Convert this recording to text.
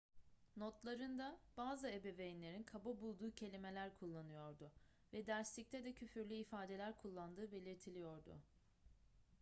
notlarında bazı ebeveynlerin kaba bulduğu kelimeler kullanıyordu ve derslikte de küfürlü ifadeler kullandığı belirtiliyordu